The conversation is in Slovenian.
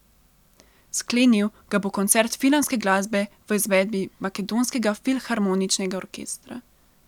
Sklenil ga bo koncert filmske glasbe v izvedbi makedonskega filharmoničnega orkestra.